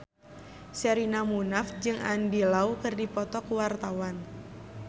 Sherina Munaf jeung Andy Lau keur dipoto ku wartawan